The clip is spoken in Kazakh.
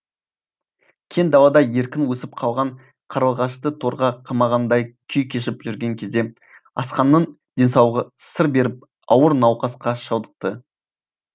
кең далада еркін өсіп қалған қарлығашты торға қамағандай күй кешіп жүрген кезде асханның денсаулығы сыр беріп ауыр науқасқа шалдықты